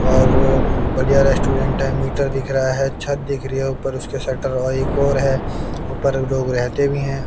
और बढ़िया रेस्टोरेंट है मीटर दिख रहा है छत दिख रही है ऊपर उसके शटर और एक और है ऊपर लोग रहते भी हैं।